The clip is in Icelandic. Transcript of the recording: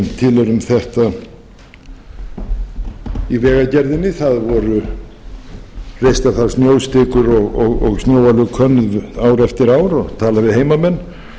til eru um þetta í vegagerðinni það voru reistar þar snjóstikur og snjálöguð könnuð ár eftir ár og talað við heimamenn